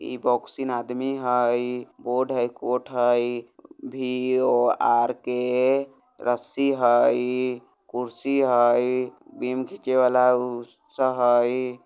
इ बोक्सिन आदमी हई बोर्ड हई कोट हई वी ओ आर के रस्सी हई कुर्सी हई बीम घिंचे वाला उ सब हई।